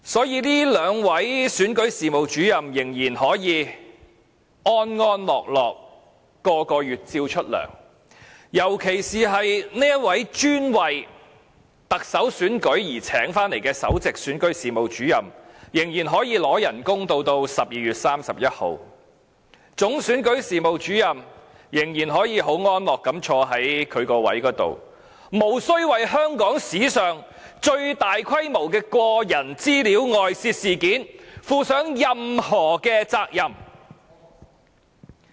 因此，這兩位選舉事務主任仍可安樂地每月獲發工資，尤其這位專為特首選舉而聘請的首席選舉事務主任仍然可以領取工資至12月31日，總選舉事務主任仍可安坐其位，無須為香港史上最大規模的個人資料外泄事件負上任何責任。